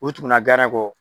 U tukula kɔ.